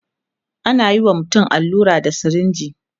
anayi wa mutum allura da sirinji